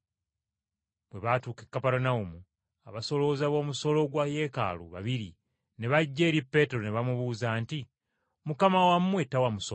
Bwe baatuuka e Kaperunawumu abasolooza b’omusolo gwa Yeekaalu babiri ne bajja eri Peetero ne bamubuuza nti, “Mukama wammwe tawa musolo?”